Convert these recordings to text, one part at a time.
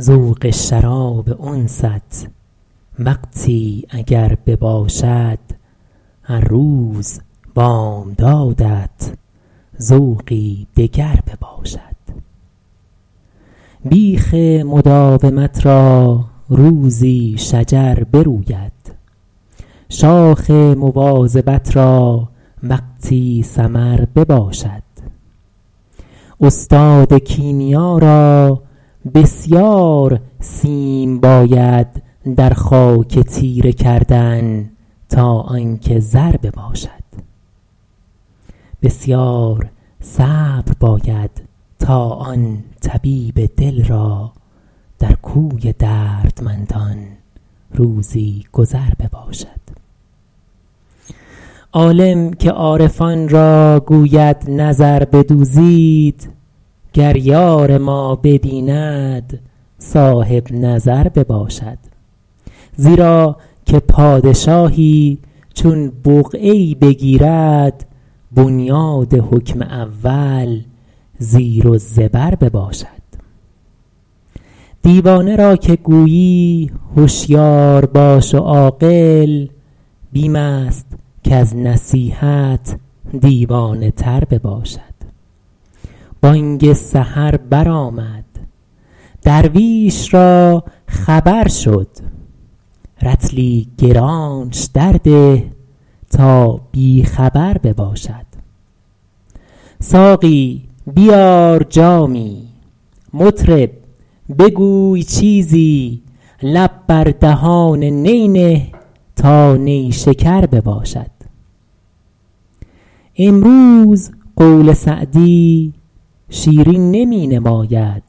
ذوق شراب انست وقتی اگر بباشد هر روز بامدادت ذوقی دگر بباشد بیخ مداومت را روزی شجر بروید شاخ مواظبت را وقتی ثمر بباشد استاد کیمیا را بسیار سیم باید در خاک تیره کردن تا آن که زر بباشد بسیار صبر باید تا آن طبیب دل را در کوی دردمندان روزی گذر بباشد عالم که عارفان را گوید نظر بدوزید گر یار ما ببیند صاحب نظر بباشد زیرا که پادشاهی چون بقعه ای بگیرد بنیاد حکم اول زیر و زبر بباشد دیوانه را که گویی هشیار باش و عاقل بیم است کز نصیحت دیوانه تر بباشد بانگ سحر بر آمد درویش را خبر شد رطلی گرانش درده تا بی خبر بباشد ساقی بیار جامی مطرب بگوی چیزی لب بر دهان نی نه تا نیشکر بباشد امروز قول سعدی شیرین نمی نماید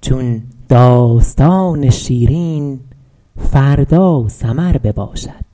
چون داستان شیرین فردا سمر بباشد